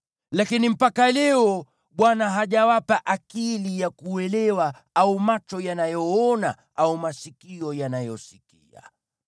Lakini mpaka leo Bwana hajawapa akili ya kuelewa au macho yanayoona au masikio yanayosikia.